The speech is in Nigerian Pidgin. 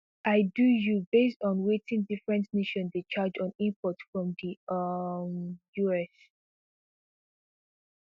i do you based on wetin different nations dey charge on imports from di um us